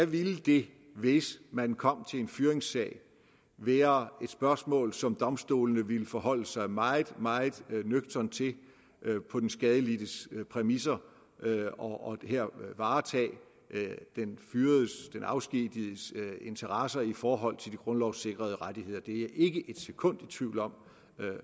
ville det hvis man kom til en fyringssag være et spørgsmål som domstolene ville forholde sig meget meget nøgternt til på den skadelidtes præmisser og her varetage den fyredes den afskedigedes interesser i forhold til de grundlovssikrede rettigheder det er jeg ikke et sekund i tvivl om